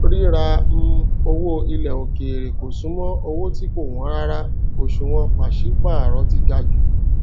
ríra um owó ilẹ òkèèrè kò súnmọ owó tí kò wọn rárá òṣùwọn pàṣípààrọ ti ga jù